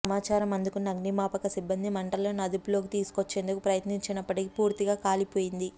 సమాచారం అందుకున్న అగ్నిమాపక సిబ్బంది మంటలను అదుపులోకి తీసుకొచ్చేందుకు ప్రయత్నించినప్పటికీ పూర్తిగా కాలిపోయింది